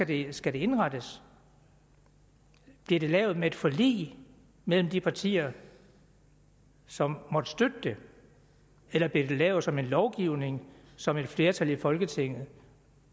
det skal indrettes bliver det lavet med et forlig mellem de partier som måtte støtte det eller bliver det lavet som en lovgivning som et flertal i folketinget